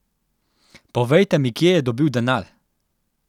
Povejte mi kje je dobil denar?